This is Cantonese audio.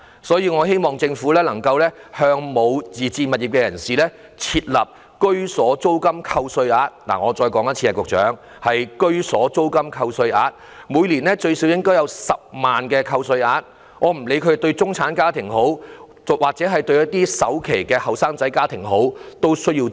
所以，我希望政府能夠向沒有自置物業的人士設立居所租金扣稅額——局長，容我再說一次，是居所租金扣稅額——每年最少應有10萬元扣稅額，以供不論是中產家庭或需要儲首期的年青家庭申請。